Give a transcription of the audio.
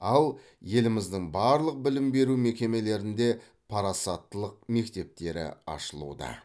ал еліміздің барлық білім беру мекемелерінде парасаттылық мектептері ашылуда